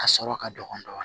A sɔrɔ ka dɔgɔ dɔɔnin